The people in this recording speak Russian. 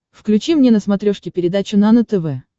включи мне на смотрешке передачу нано тв